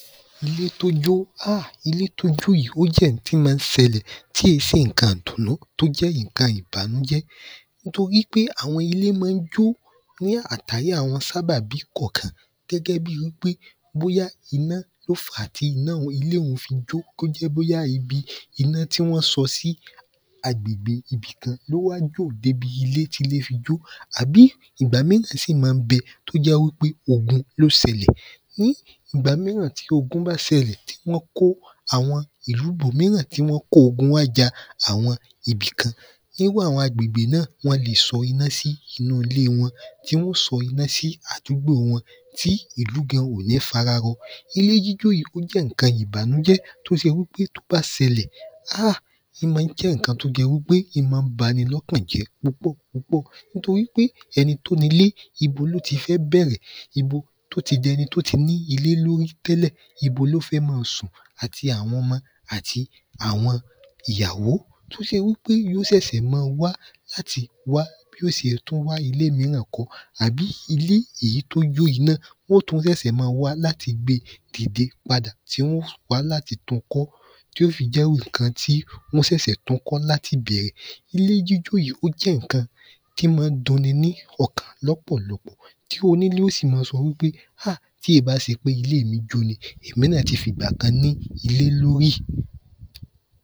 Ilé tó jó háà! Ilé tó jó yìí ó jẹ́ n tí ma ń ṣẹlẹ̀ tí è ṣe ǹkan dùnú tó jẹ́ ìnkan ìbànújẹ́ nítorí pé àwọn ilé má ń jo ní àtàrí àwọn sábàbí kọ̀kan gẹ́gẹ́ bíi wí pé bóyá iná ó fá tí ilé ún fi jo tó jẹ́ bóyá ibi iná tí wọ́n sọ sí agbègbè ibi kan ló wá jò débi ilé tíle fi jo àbí ìgbà míràn sì má ń bẹ tó jẹ́ wí pé ogun ló ṣẹlẹ̀ ní ìgbà míràn tí ogun bá ṣẹlẹ̀ tí wọ́n kó àwọn ìlu bòmíràn tí wọ́n kó ogun wá ja àwọn ibì kan irú àwọn agbègbè náà wọ́n le sọ iná sí inú ilé wọ́n tí wọ́n ó sọ iná sí àdúgbò wọn tí ìú gan ò ní fara rọ ilé jíjó yí ó jẹ́ ǹkan ìbànújẹ́ tó se wí pé tó bá sẹlẹ̀ háà! í ma ń jẹ́ ìnkan tó jẹ wí pe í ma ń bani lọ́kan jẹ́ púpọ̀ púpọ̀ nítorí pé ẹni tó nilé ibo ló ti fẹ́ bẹ̀rẹ̀ ibo tó ti dẹni tó ti ní ilé lórí tẹ́lẹ̀ ibo ló fẹ́ ma sùn àti awọn ọmọ àti awọn ìyàwó tó ṣe wí pe yí ó ṣẹ̀ṣẹ̀ ma wá láti wá bí ó ṣe tú wá ilé mírà kọ́ àbí ilé ìyí tó jó iná ó tú ṣẹ̀ṣẹ̀ ma wá láti gbe dìde padà tí wọ́n ó wá láti tun kọ́ tí ó fi jẹ́ iwu ǹkan tí wọ́n ṣẹ̀ṣẹ̀ tun kọ́ láti bẹ̀rẹ̀ ilé jíjó yí ó jẹ́ ǹkan tí ma ń dun ni ní ọkàn lọ́pọ̀lọpọ̀ tí o nílé ó sì ma sọ wí pé háà! tí èé bá se pé iléè mi jó ni èmi náà ti fìgbà kan ní ilé lórí